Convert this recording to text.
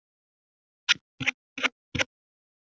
Ég veit að þér finnst ég orðmörg.